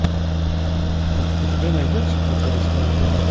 у тебя найдется притворись моей женой